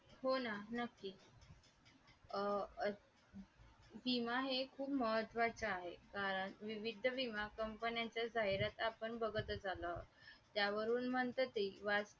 अचानक मोराच्या पिसासारखी भासणारी पालखी जड जड होत जाते आणि खांदेकरांच्या तालावर नाचण्याऐवजी तीच त्यांना घुमवायला सुरुवात करते.